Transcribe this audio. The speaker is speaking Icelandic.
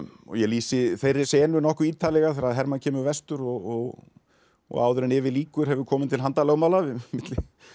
ég lýsi þeirri senu nokkuð ítarlega þegar Hermann kemur vestur og og áður en yfir lýkur hefur komið til handalögmála milli